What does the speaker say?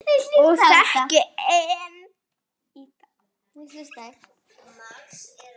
Og þekki enn í dag.